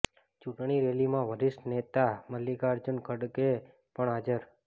ચૂંટણી રેલીમાં વરિષ્ઠ નેતા મલ્લિકાર્જુન ખડગે પણ હાજર